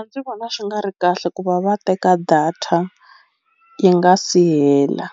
ndzi vona swi nga ri kahle ku va va teka data yi nga si hela